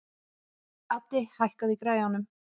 Addi, hækkaðu í græjunum.